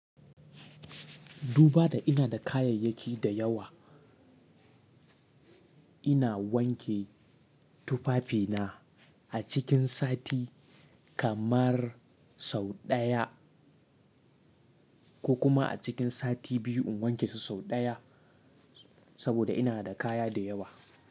Duba da iri da kayayyaki da yawa, ina wanke tufafina a cikin sati kamar sau ɗaya, ko kuma a cikin sati biyu in wanke su sau ɗaya. Saboda ina da kaya da yawa.